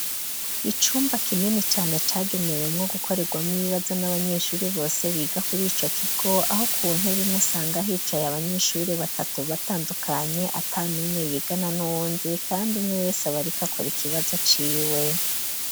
Icumba kineni cane cagenewemwo gukorerwa mw ibibaza n'abanyeshuri bose biga kuri ico kigo aho ku ntebi mwe usanga hicaye abanyeshuri batatu batandukanye ata n'umwe yigana n'undi, kandi umwe wese abarikakora ikibazo ciwe.